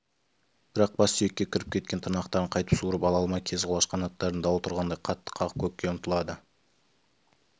бірақ бас сүйекке кіріп кеткен тырнақтарын қайтып суырып ала алмай кезқұлаш қанаттарын дауыл тұрғандай қатты қағып көкке ұмтылады